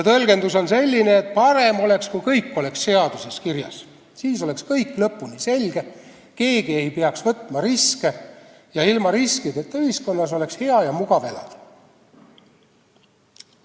Tõlgendus on selline, et parem oleks, kui kõik oleks seaduses kirjas, siis oleks kõik lõpuni selge, keegi ei peaks võtma riske ning ilma riskideta ühiskonnas oleks hea ja mugav elada.